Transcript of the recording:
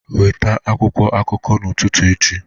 Weta akwụkwọ akụkọ n'ụtụtụ echi